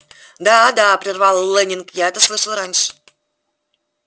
да да прервал лэннинг я это слышал раньше